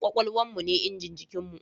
Kwakwalwan mu ne injin jikin mu